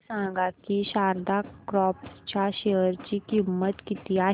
हे सांगा की शारदा क्रॉप च्या शेअर ची किंमत किती आहे